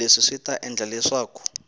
leswi swi ta endla leswaku